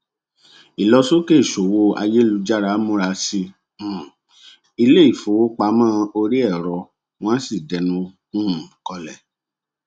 ìlọsókè ìṣòwò ayélujára múra sí um ilé ìfowópamọ oríẹrọ wọn sì dẹnu um kọlẹ